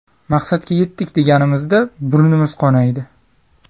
Maqsadga yetdik deganimizda burnimiz qonaydi.